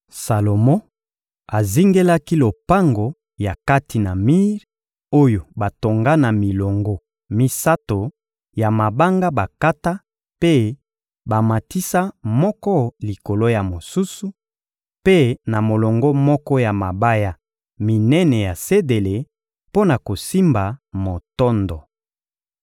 Salomo azingelaki lopango ya kati na mir oyo batonga na milongo misato ya mabanga bakata mpe bamatisa moko likolo ya mosusu, mpe na molongo moko ya mabaya minene ya sedele mpo na kosimba motondo.